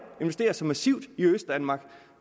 investerer så massivt i østdanmark